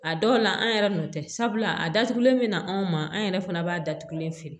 A dɔw la an yɛrɛ n'o tɛ sabula a datugulen bɛ na anw ma an yɛrɛ fana b'a datugulen feere